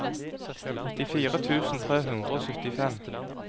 nittifire tusen tre hundre og syttifem